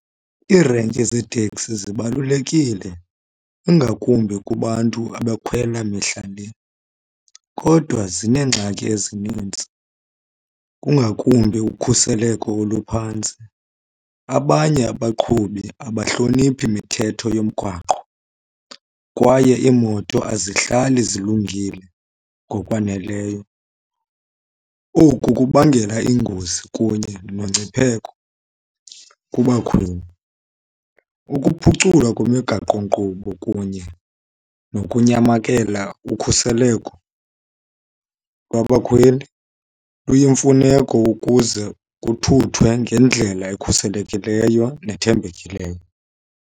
Iirenki zeeteksi zibalulekile ingakumbi kubantu abakhwela mihla le. Kodwa zineengxaki ezinintsi kungakumbi ukhuseleko oluphantsi. Abanye abaqhubi abahloniphi mithetho yomgwaqo kwaye iimoto azihlali zilungile ngokwaneleyo. Oku kubangela iingozi kunye nongcipheko kubakhweli. Ukuphuculwa kwemigaqo-nkqubo kunye nokunyamakela ukhuseleko lwabakhweli luyimfuneko ukuze kuthuthwe ngendlela ekhuselekileyo nethembekileyo.